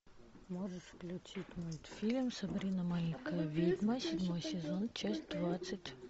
можешь включить мультфильм сабрина маленькая ведьма седьмой сезон часть двадцать